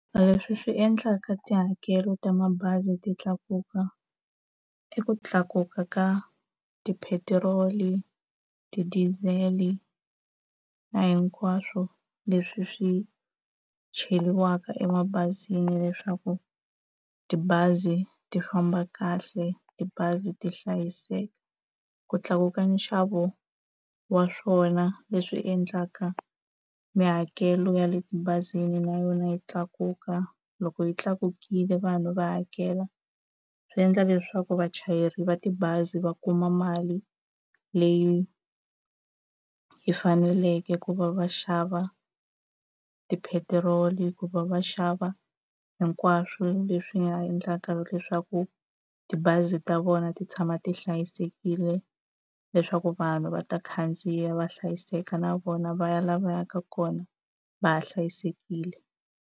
Leswi swi endlaka tihakelo ta mabazi ti tlakuka, i ku tlakuka ka ti-petrol-i, ti-diesel-i na hinkwaswo leswi swi cheriwaka emabazini leswaku tibazi ti famba kahle tibazi ti hlayiseka. Ku tlakuka nxavo wa swona leswi endlaka mihakelo ya le tibazini na yona yi tlakuka, loko yi tlakukile vanhu va hakela, swi endla leswaku vachayeri va tibazi va kuma mali leyi hi faneleke ku va va xava tipetiroli. Hikuva va xava hinkwaswo leswi nga endlaka leswaku tibazi ta vona ti tshama ti hlayisekile, leswaku vanhu va ta khandziya va hlayiseka, na vona va ya laha va yaka kona va ha hlayisekile.